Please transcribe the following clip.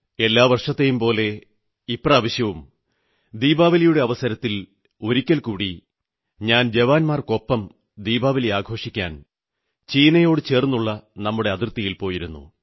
എല്ലാ വർഷത്തെയും പോലെ ഇപ്രാവശ്യവും ദീപാവലിയുടെ അവസരത്തിൽ ഒരിക്കൽ കൂടി ഞാൻ ജവാന്മാർക്കൊപ്പം ദീപാവലി ആഘോഷിക്കാൻ ചൈനയോടു ചേർന്നുള്ള നമ്മുടെ അതിർത്തിയിൽ പോയിരുന്നു